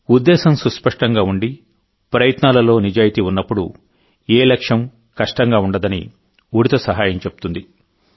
ఉద్దేశ్యం సుస్పష్టంగా ఉండి ప్రయత్నాలలో నిజాయితీ ఉన్నప్పుడు ఏ లక్ష్యం కష్టంగా ఉండదని ఉడుత సహాయం చెప్తుంది